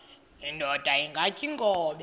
indod ingaty iinkobe